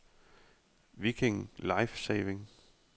Viking Life-Saving